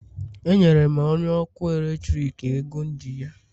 Enyere m onye ọkụ eletrik ego m ji ya